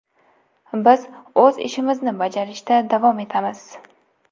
Biz o‘z ishimizni bajarishda davom etamiz.